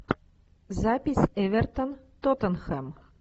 запись эвертон тоттенхэм